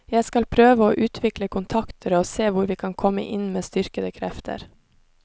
Jeg skal prøve å utvikle kontakter og se hvor vi kan komme inn med styrkede krefter.